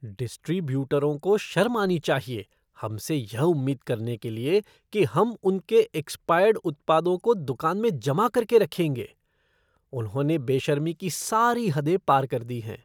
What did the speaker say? डिस्ट्रीब्यूटरों को शर्म आनी चाहिए हमसे यह उम्मीद करने के लिए कि हम उनके एक्सपायर्ड उत्पादों को दुकान में जमा करके रखेंगे। उन्होंने बेशर्मी की सारी हदें पार कर दी हैं।